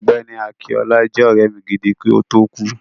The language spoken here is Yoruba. Ọ̀gbẹ́ni Akinọlá jẹ́ ọ̀rẹ́ mi gidi, kí ó tó kú.